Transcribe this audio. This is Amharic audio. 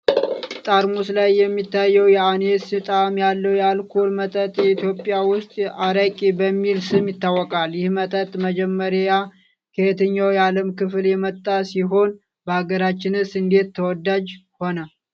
ጠርሙስ ላይ የሚታየው የአኒስ ጣዕም ያለው የአልኮል መጠጥ ኢትዮጵያ ውስጥ 'አራቂ' በሚል ስም ይታወቃል። ይህ መጠጥ መጀመሪያ ከየትኛው የዓለም ክፍል የመጣ ሲሆን፣ በአገራችንስ እንዴት ተወዳጅ ሆነ?